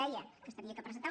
deia que s’havia de presentar